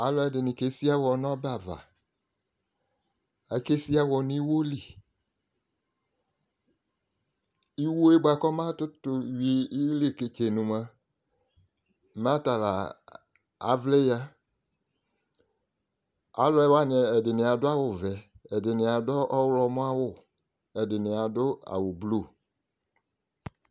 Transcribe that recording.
alò ɛdini ke si ɛwɔ n'ɔbɛ ava ake si ɛwɔ n'iwo li iwo yɛ boa kò ɔba kutò wi ileketsenu moa mɛ ata la avlɛ ya alòwani ɛdini adu awu vɛ ɛdini adu ɔwlɔmɔ awu ɛdini adu awu blu